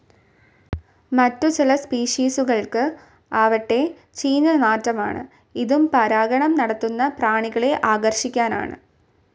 മറ്റു ചില സ്പീഷിസുകൾക്ക് ആവട്ടെ ചീഞ്ഞ നാറ്റമാണ്, ഇതും പരാഗണം നടത്തുന്ന പ്രാണികളെ ആകർഷിക്കാനാണ്.